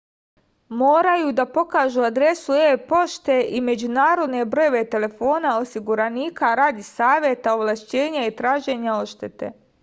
морају да покажу адресу е-поште и међународне бројеве телефона осигураника ради савета/овлашћења и тражења одштете